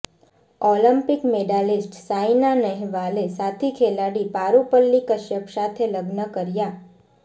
Olympic medalist Saina નહેવાલે સાથી ખેલાડી પારુપલ્લી કશ્યપ સાથે લગ્ન કર્યા